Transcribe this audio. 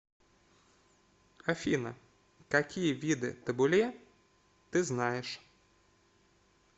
афина какие виды табуле ты знаешь